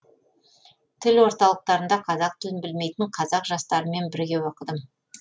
тіл орталықтарында қазақ тілін білмейтін қазақ жастарымен бірге оқыдым